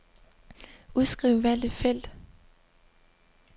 Udskriv valgte felt.